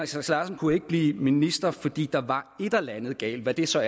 sass larsen kunne ikke blive minister fordi der var et eller andet galt hvad det så